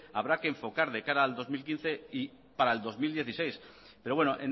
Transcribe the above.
habrá que enfocar de cara al dos mil quince y para el dos mil dieciséis pero bueno